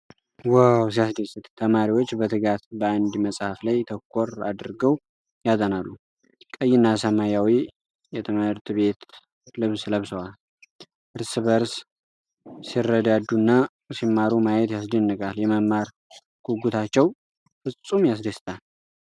ዋው ሲያስደስት! ተማሪዎች በትጋት በአንድ መጽሐፍ ላይ ተኮር አድርገው ያጠናሉ። ቀይና ሰማያዊ የትምህርት ቤት ልብስ ለብሰዋል። እርስ በእርስ ሲረዳዱና ሲማሩ ማየት ያስደንቃል። የመማር ጉጉታቸው ፍፁም ያስደስታል።